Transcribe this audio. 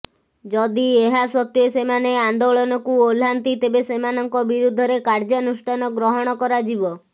ଯଦି ଏହା ସତ୍ୱେ ସେମାନେ ଆନ୍ଦୋଳନକୁଓହ୍ଲାନ୍ତି ତେବେ ସେମାନଙ୍କ ବିରୁଦ୍ଧରେ କାର୍ଯ୍ୟାନୁଷ୍ଠାନଗ୍ରହଣ କରାଯିବ